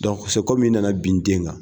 i nana bin n den kan.